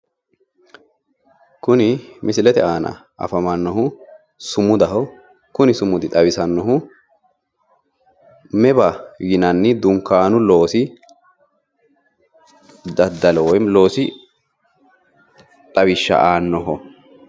Kuni misilete aana afamannohu sumudaho. Kuni sumudi xawisannohu meba yinanni dunkaanu loosi daddalo woyi loosi xawishsha aannoho.